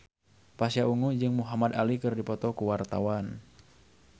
Pasha Ungu jeung Muhamad Ali keur dipoto ku wartawan